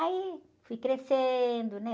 Aí fui crescendo, né?